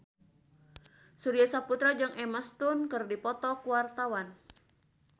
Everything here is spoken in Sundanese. Surya Saputra jeung Emma Stone keur dipoto ku wartawan